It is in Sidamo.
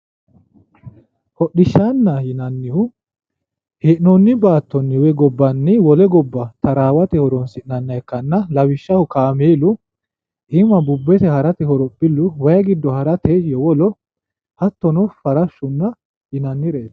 Hodhishaanaho yinanihu he'noonni gobani wole goba tarawate horon'sinnaniha ikana, lawishaho kaameellu, iima bubbete harate horophilu, way gido harate yowolo, hatono farashsho yinanireeti